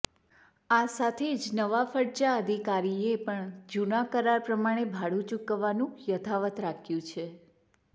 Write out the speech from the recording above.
આ સાથે જ નવા ફડચા અધિકારીએ પણ જૂના કરાર પ્રમાણે ભાડું ચૂકવવાનું યથાવત રાખ્યું છે